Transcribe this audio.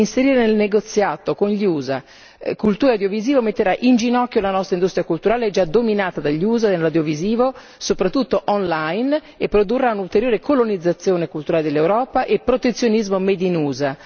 Inserire nel negoziato con gli USA cultura e audiovisivo metterà in ginocchio la nostra industria culturale, già dominata dagli USA nell'audiovisivo, soprattutto online, e produrrà un'ulteriore colonizzazione culturale dell'Europa e protezionismo made in USA.